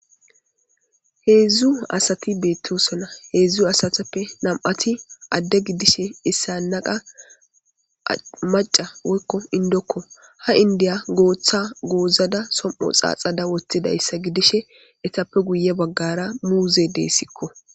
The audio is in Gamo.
Hedzdzu asati betosona hedzdzu asatappe nam'ati addr gidishe issana qasi maca woykon indiko, ha indiya goosa goozada som'o xaaxada wothidaysa gidishe eetappe guye bagara muuzeyi desiko.